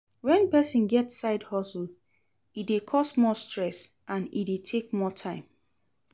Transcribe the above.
When persin get side hustle e de cause more stress and e de take more time